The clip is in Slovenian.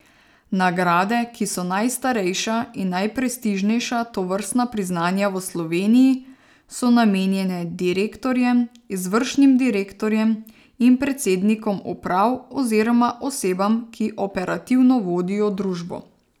Nagrade, ki so najstarejša in najprestižnejša tovrstna priznanja v Sloveniji, so namenjene direktorjem, izvršnim direktorjem in predsednikom uprav oziroma osebam, ki operativno vodijo družbo.